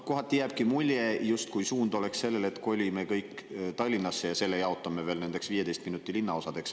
Kohati jääbki mulje, justkui suund oleks see, et kolime kõik Tallinnasse ja selle jaotame veel nendeks 15 minuti linnaosadeks.